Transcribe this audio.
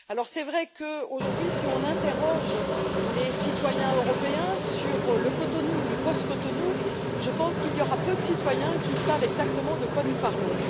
C'est vrai qu'aujourd'hui, si on interroge les citoyens européens sur le Cotonou, le post Cotonou, je pense qu'il y aura peu de citoyens qui savent exactement de quoi nous parlons.